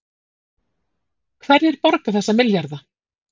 Hverjir borga þessa milljarða